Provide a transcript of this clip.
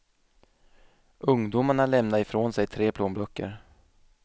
Ungdomarna lämnade ifrån sig tre plånböcker.